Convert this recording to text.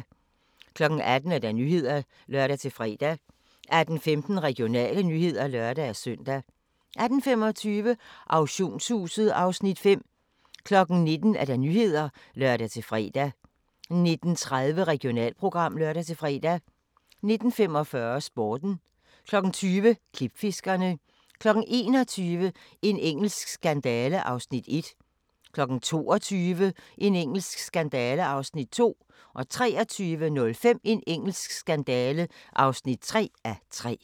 18:00: Nyhederne (lør-fre) 18:15: Regionale nyheder (lør-søn) 18:25: Auktionshuset (Afs. 5) 19:00: Nyhederne (lør-fre) 19:30: Regionalprogram (lør-fre) 19:45: Sporten 20:00: Klipfiskerne 21:00: En engelsk skandale (1:3) 22:00: En engelsk skandale (2:3) 23:05: En engelsk skandale (3:3)